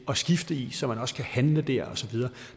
at skifte i så man også kan handle der og så videre